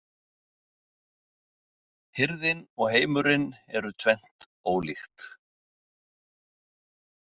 Hirðin og heimurinn eru tvennt ólíkt.